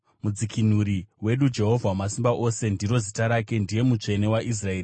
Mudzikinuri wedu, Jehovha Wamasimba Ose ndiro zita rake; ndiye Mutsvene waIsraeri.